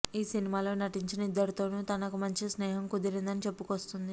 ఈ సినిమాలో నటించిన ఇద్దరితోనూ తనకు మంచి స్నేహం కుదిరిందని చెప్పుకొస్తుంది